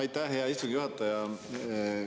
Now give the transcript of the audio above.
Aitäh, hea istungi juhataja!